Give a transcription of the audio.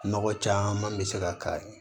Nɔgɔ caman bɛ se ka k'a ye